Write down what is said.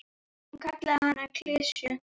Hún kallaði hann klisju.